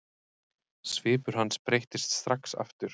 Svipur hans breyttist strax aftur.